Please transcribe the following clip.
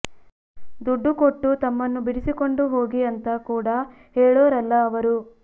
ದುಡ್ಡು ಕೊಟ್ಟು ತಮ್ಮನ್ನು ಬಿಡಿಸಿಕೊಂಡು ಹೋಗಿ ಅಂತ ಕೂಡ ಹೇಳೋರಲ್ಲ ಅವರು